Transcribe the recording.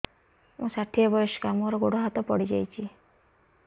ମୁଁ ଷାଠିଏ ବୟସ୍କା ମୋର ଗୋଡ ହାତ ପଡିଯାଇଛି